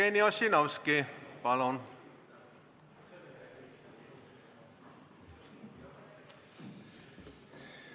Jevgeni Ossinovski, palun!